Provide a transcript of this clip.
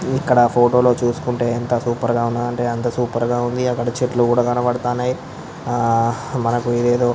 ఇక్కడ ఫోటో లొ చుసోకొంటే ఎంత సూపర్ గా ఉంది అంటే అంత సూపర్ గా ఉంది. అక్కడ చెట్లు కనపడతానయ్ ఆ మనకి ఏది ఏదో --